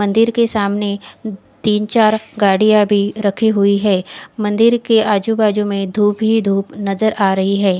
मंदिर के सामने तिन चार गाड़िया भी रखी हुई है मंदिर के आजू बाजु में धुप ही धुप नज़र आ रही है।